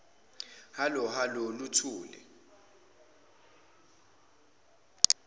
hallo hallo luthule